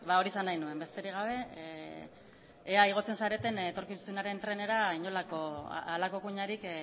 hori esan nahi nuen besterik gabe ea igotzen zareten etorkizunaren trenera halako kuinarik